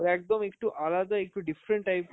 ওর একদম একটু আলাদা, একটু different type এর